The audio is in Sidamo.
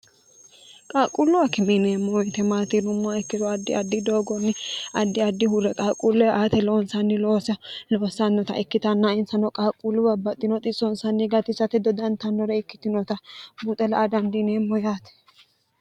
qaaqquullu akime yineemmo woyte maati yinummoha ikkiro addi addi doogonni addi adi huure qaaqquullee aate loonsanni loose loossannota ikkitanna insano qaaqquulluwa baxxinoxi soonsanni gatisate dodantannore ikkitinota buxe la''a dandiineemmo yaate